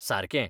सारकें!